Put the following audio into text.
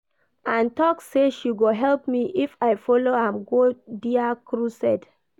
Ann talk say she go help me if I follow am go dia crusade